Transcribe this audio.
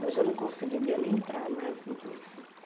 Hoje eu não conseguiria nem entrar mais no Play Center.